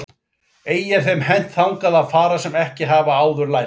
Ei er þeim hent þangað að fara sem ekkert hafa áður lært.